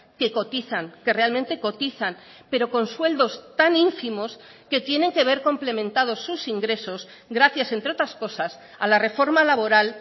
que cotizan que realmente cotizan pero con sueldos tan ínfimos que tienen que ver complementado sus ingresos gracias entre otras cosas a la reforma laboral